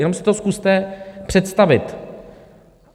Jenom si to zkuste představit.